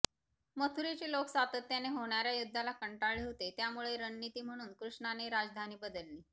मथुरेचे लोक सातत्याने होणाऱया युद्धाला कंटाळले होते त्यामुळे रणनीती म्हणून कृष्णाने राजधानी बदलली